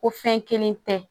Ko fɛn kelen tɛ